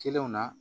Kelenw na